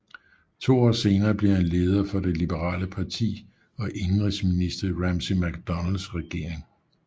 To år senere blev han leder for det liberale parti og indenrigsminister i Ramsay MacDonalds regering